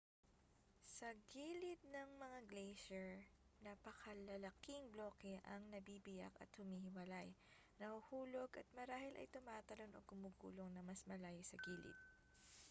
sa gilid ng mga glacier napakalalaking bloke ang nabibiyak at humihiwalay nahuhulog at marahil ay tumatalon o gumugulong nang mas malayo sa gilid